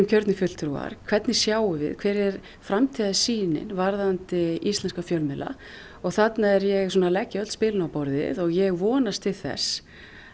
kjörnir fulltrúar hvernig sjáum við hver er framtíðarsýnin varðandi íslenska fjölmiðla og þarna er ég að leggja öll spilin á borðið og ég vonast til þess